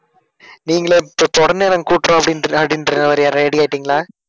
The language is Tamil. நீங்களே தொ~ தொடர்ந்து நாங்க கூட்டறோம் அப்படிங்கற அப்படிங்கற மாதிரி ready ஆயிட்டிங்களா?